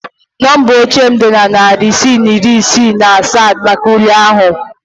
Nọmba oche m dị narị ise na iri isii na asaa maka ule ahụ